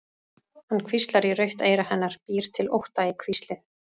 Hann hvíslar í rautt eyra hennar, býr til ótta í hvíslið.